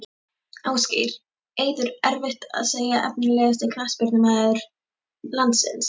Ásgeir, Eiður erfitt að segja Efnilegasti knattspyrnumaður landsins?